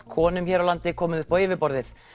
konum hér á landi komið upp á yfirborðið